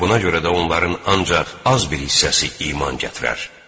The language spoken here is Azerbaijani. Buna görə də onların ancaq az bir hissəsi iman gətirər.